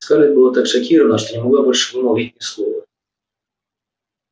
скарлетт была так шокирована что не могла больше вымолвить ни слова